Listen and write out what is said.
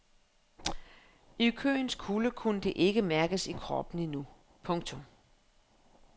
I køens kulde kunne det ikke mærkes i kroppen endnu. punktum